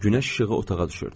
Günəş işığı otağa düşürdü.